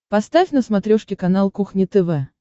поставь на смотрешке канал кухня тв